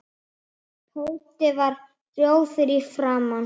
Tóti varð rjóður í framan.